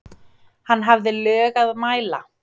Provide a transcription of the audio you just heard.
Hann hafði lög að mæla.